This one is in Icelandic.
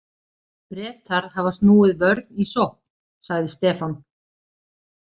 Bretar hafa snúið vörn í sókn, sagði Stefán.